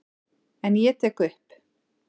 En ég tek upp.